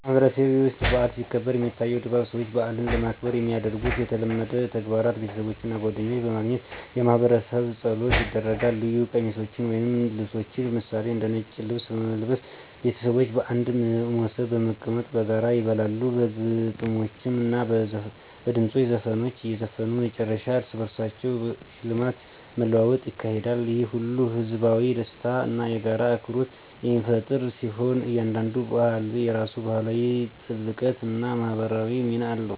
በማህበረሰቤ ውስጥ በዓል ሲከበር፣ የሚታየው ድባብ ሰዎች በዓልን ለማክበር የሚያደርጉት የተለመዱ ተግባራት ቤተሰቦች እና ጓደኞች በማግኘት የማህበረሰብ ጸሎቶች ይደረጋል ልዩ ቀሚሶችን ወይም ልብሶችን ምሳሌ፦ እንደ ነጭ ልብስ በመልበስ ቤተሰቦች በአንድ ሞሰብ በመቀመጥ በጋራ ይበላሉ በግጥሞች እና በድምፅ ዘፈኖች እዘፈኑ መጨፈር እርስ በርስ ሽልማት መለዋወጥ ይካሄዳል። ይህ ሁሉ ህዝባዊ ደስታን እና የጋራ አክብሮትን የሚፈጥር ሲሆን፣ እያንዳንዱ በዓል የራሱ ባህላዊ ጥልቀት እና ማህበራዊ ሚና አለው።